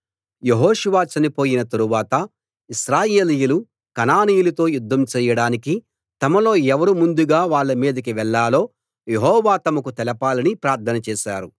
యెహోషువ చనిపోయిన తరువాత ఇశ్రాయేలీయులు కనానీయులతో యుద్ధం చెయ్యడానికి తమలో ఎవరు ముందుగా వాళ్ళ మీదికి వెళ్ళాలో యెహోవా తమకు తెలపాలని ప్రార్థన చేశారు